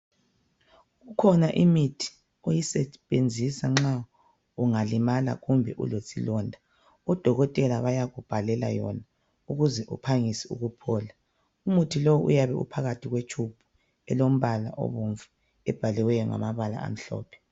Kukhona imithi oyisebenzisa nxa ungalimala kumbe ulesilonda, odokotela bayakubhalela yona ukuze uphangise ukuphola. Umuthi lo uyabe uphakathi kwetshubhu elombala obomvu ebhaliweyo ngamabala amhlophe.